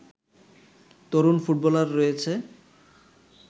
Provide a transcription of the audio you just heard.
তরুণ footballer রয়েছে